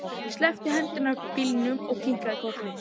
Ég sleppti hendinni af bílnum og kinkaði kolli.